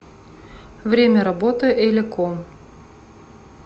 время работы элеком